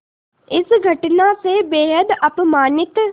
इस घटना से बेहद अपमानित